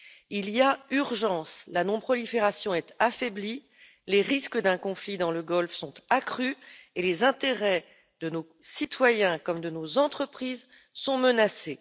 Il y a urgence la non prolifération est affaiblie, les risques d'un conflit dans le Golfe sont accrus et les intérêts de nos citoyens comme de nos entreprises sont menacés.